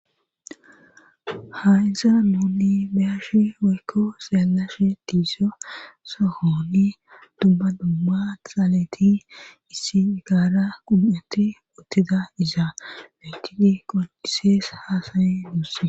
hayisan nuuni bi'ashi woykko xeellashe dizay sohoni dumma dumma xaaleti issi gaara qum'eti uttida izaa bentidi qoncisees haasaye duusse